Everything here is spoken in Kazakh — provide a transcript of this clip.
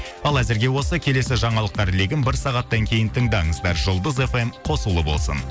ал әзірге осы келесі жаңалықтар легін бір сағаттан кейін тыңдаңыздар жұлдыз фм қосулы болсын